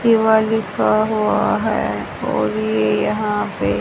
शिवा लिखा हुआ है और ये यहां पे--